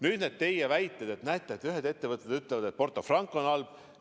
Nüüd need teie väited, et ühed ettevõted ütlevad, et Porto Franco on halb.